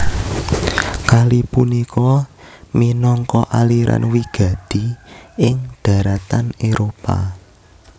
Kali punika minangka aliran wigati ing daratan Éropah